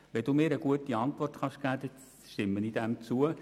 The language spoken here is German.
Wenn Sie mir eine gute Antwort geben, stimme ich Ihrem Antrag zu.